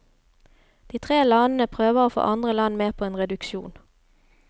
De tre landene prøver å få andre land med på en reduksjon.